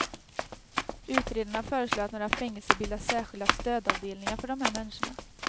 Utredarna föreslår att några fängelser bildar särskilda stödavdelningar för de här människorna.